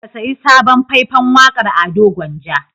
Ka sayi sabon fai-fan waƙar Ado Gwanja.